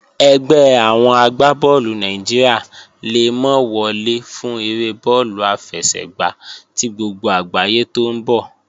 Ẹgbẹ́ àwọn agbá bọ́ọ̀lù Nàìjíríà le mọ́ wọlé fún eré bọ́ọ̀lù àfẹsẹ̀gbá tí gbogbo àgbáyé tó ń bọ̀